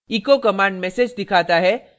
echo command message दिखाता है